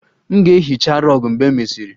M ga-ehicha rug mgbe e mesịrị